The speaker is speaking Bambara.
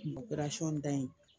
da in